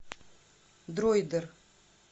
дроидер